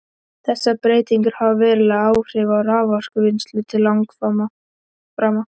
Þessar breytingar hafa veruleg áhrif á raforkuvinnslu til langframa.